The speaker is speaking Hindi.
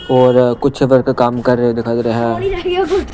और कुछ वर्कर काम कर रहे दिखाई दे रहे हैं ।